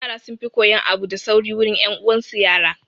Yara sun fi koyan abu da sauri wurin 'yan uwan su yara